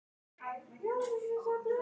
Valdimar tyllti sér.